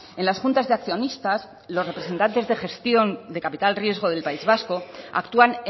en las juntas de accionistas los representantes de gestión de capital riesgo del país vasco actúan